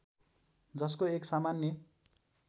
जसको एक सामान्य